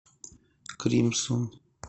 кримсон